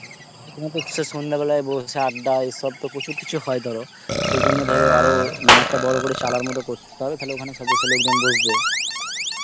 তো সে সন্ধে বেলায় বসে আড্ডা এসব তো প্রচুর কিছু হয় ধর সেই জন্য ধরো আরো মানে একটা বড় মত চালার মতো করতে তো হবে তাহলে সব ওখানে লোকজন এসে বসবে